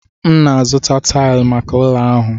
M na-azụta taịlị maka ụlọ ahụ.